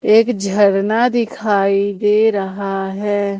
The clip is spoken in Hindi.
एक झरना दिखाई दे रहा है।